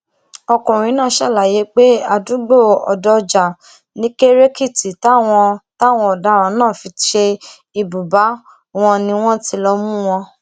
ọkùnrin náà ṣàlàyé pé àdúgbò ọdọọjà nìkéréèkìtì táwọn táwọn ọdaràn náà fi ṣe ibùba wọn ni wọn ti lọọ mú wọn